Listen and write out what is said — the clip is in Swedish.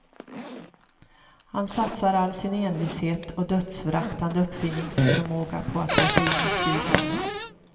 Han satsar all sin envishet och dödsföraktande uppfinningsförmåga på att ta sig in i studion.